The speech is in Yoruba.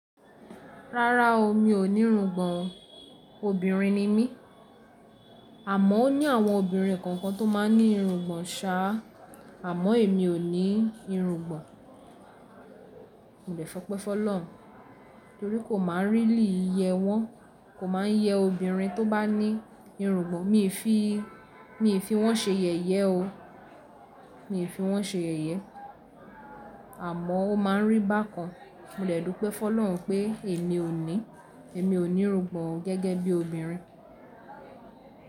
Rárá o, mi ò ní irungbọ̀n, obìnrin ni mí. Àmọ́ ó ní àwọn obìnrin kankan tó má ń ní irungbọ̀n sàá, àmọ́ èmi ò ní irungbọ̀n. Mo dẹ̀ fọ́pẹ́ fọlọ̀run, torí kò má ń really yẹ wọ́n, kò má ń yẹ obìnrin tó bá ní irungbọ̀n, mi i fi wọ́n ṣe yẹ̀yẹ oo, mi fi wọ́n ṣe yẹ̀yẹ. Àmọ́ o má ń rí bákan, mo dẹ̀ dúpẹ́ f'ọlọ̀run pé èmi ò ní, èmi ò ní irungbọ̀n gẹ́gẹ́ bí obìnrin.